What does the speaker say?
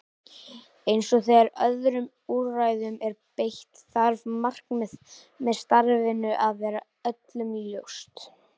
Eins og þegar öðrum úrræðum er beitt þarf markmiðið með starfinu að vera öllum ljóst.